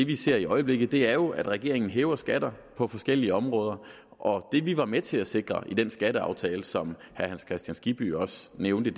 vi ser i øjeblikket er jo at regeringen hæver skatter på forskellige områder og det vi var med til at sikre i den skatteaftale som herre hans kristian skibby også nævnte